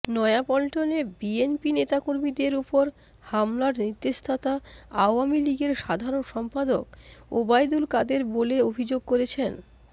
নয়াপল্টনে বিএনপি নেতাকর্মীদের ওপর হামলার নির্দেশদাতা আওয়ামী লীগের সাধারণ সম্পাদক ওবায়দুল কাদের বলে অভিযোগ করেছেন